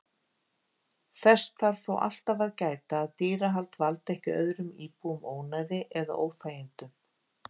Þess þarf þó alltaf að gæta að dýrahald valdi ekki öðrum íbúum ónæði eða óþægindum.